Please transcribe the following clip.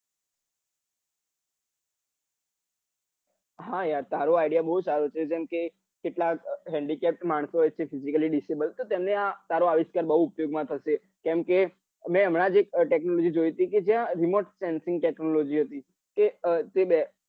હા યાર તારો idea બઉ સારો છે જેમ કે કેટલા handicapped માણસો હોય છે physically disable તો તેમને આ તારો આવિષ્કાર બઉ ઉપયોગ માં થશે કેમ મેં હમણાં જ એક technology જોઈ હતી જ્યાં remote sensing technology હતી કે એ બેઠે